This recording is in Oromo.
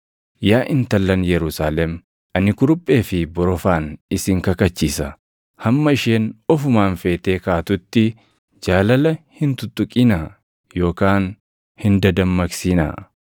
Yaa intallan Yerusaalem, ani kuruphee fi borofaan isin kakachiisa; hamma isheen ofumaan feetee kaatutti, jaalala hin tuttuqinaa yookaan hin dadammaqsinaa.